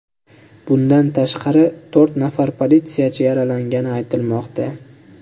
Bundan tashqari, to‘rt nafar politsiyachi yaralangani aytilmoqda.